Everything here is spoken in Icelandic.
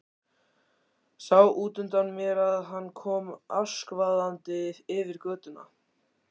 Sá útundan mér að hann kom askvaðandi yfir götuna.